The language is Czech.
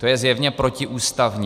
To je zjevně protiústavní.